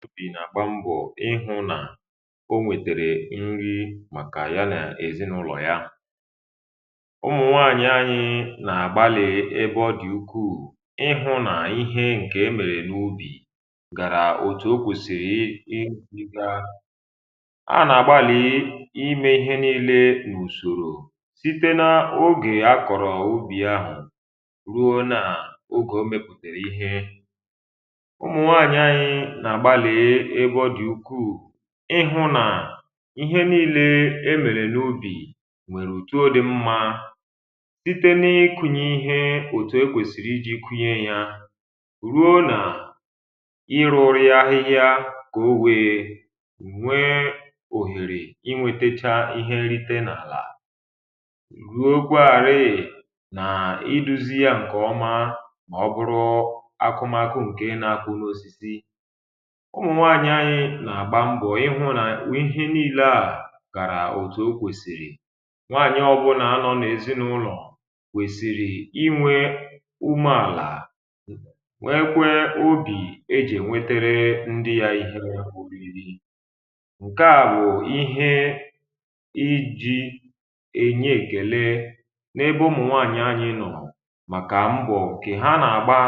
tupu nà-àkpa mbọ̀ ihụ nà o nwètèrè nri um màkà ya nà èzinàụlọ̀ ya, ụmụ̀nwaànyị anyị nà-àgbalì ebe ọ dị̀ ukwuù ihụ nà ihe ǹkè emèrè n’ubì gàrà otù o kwèsìrì. i ngȧrì a nà-àgbalì imė ihe niile n’ùsòrò site na ogè akọ̀rọ̀ ubì ahụ̀ ruo nà ogè o mepùtèrè ihe ịhụ̇ nà ihe nii̇lė e mèrè n’ubì, nwèrè òtuȯ dị mmȧ site nà-ekunye ihe òtùo kwèsìrì iji̇ kwunye yȧ ruo nà irȯru̇ ahihia kà owėė nwee òhèrè inwėtėcha ihe nrite n’àlà, ruo gwa àrị̀ị̀ nà idu̇ziȧ ǹkè ọma. mà ọ bụrụ akụmakụ ǹke nȧ-akụ̇ nȧ-ȯsi̇si̇ ǹitụ̀ ànyi nà-àgba mbọ̀ ịhụ̇ nà ihe niilė à kàrà òtù o kwèsìrì. nwaànyị ọbụlà anọ̇ n’èzinụlọ̀ wèsìrì inwė umeàlà, nwekwe obì ejì ènwetere ndị ya ihe ri̇ri̇ ǹke à bụ̀ ihe iji̇ enye èkèle n’ebe ọmụ̀ nwaànyị̀ anyị nọ̀. màkà mbọ̀ kè ha nà-àgba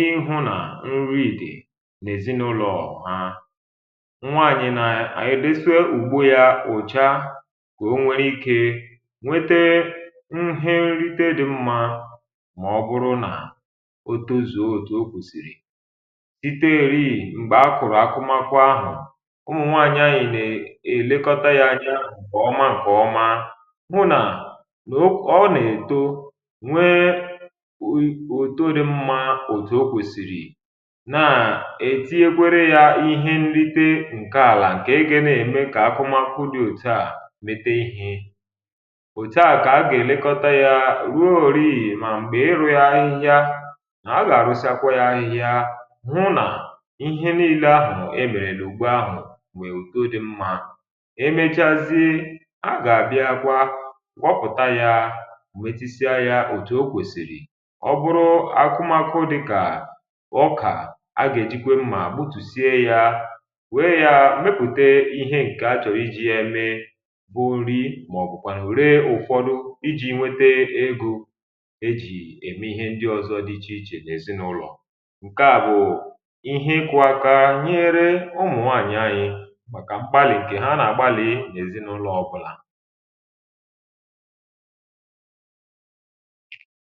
ịhụ̇ nà nriìdì nwaànyị̀ nà ànyị desue ùgbu ya ùcha kà o nwere ikė nwete nhe nrite dị mmȧ. mà ọ bụrụ nà o tozuo òtù o kwèsìrì, site rịị̀ m̀gbè a kụ̀rụ̀ akụmakụ ahụ̀, ụmụ̀ nwaànyị̀ nà-èlekọta ya anya. ǹkwè ọma ǹkwè ọma hụ nà ọ nà-èto, nwee o to dị mmȧ òtù o kwèsìrì, ǹke àlà ǹke ebe nà-ème kà akụmakụ dị̇ òtu. à metee ihė òtu à kà a gà-èlekọta yȧ rùo òriì, mà m̀gbè ịrụ̇ ya ihia, a gà-àrụsịakwa ya ahịhịa, hụ nà ihe niilė ahụ̀ e mèrèlụ̀ ugbu ahụ̀, nwèè ùto dị mmȧ. emechazie a gà-àbịa kwa kwupụ̀ta ya, wètisịa ya òtù o kwèsìrì. ọ bụrụ akụmakụ dịkà ọkà, a gà-èjikwe mmȧ wèe ya mepùte ihe ǹkè achọ̀ iji ya eme bụ nri, màọ̀bụ̀kwànụ̀ ree ụ̀fọdụ iji nwete egȯ e jì ème ihe ndị ọzọ dị ichè ichè n’èzinụlọ̀. ǹke à bụ̀ ihe kụ̇ aka nyere ụmụ̀nwaànyị anyị màkà m̀gbalì ǹkè ha nà-àgbalì n’èzinụlọ̀ um.